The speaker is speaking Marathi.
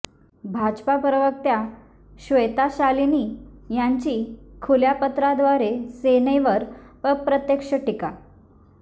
भाजपा प्रवक्त्या श्वेता शालिनी यांची खुल्या पत्राद्वारे सेनेवर अप्रत्यक्ष टीका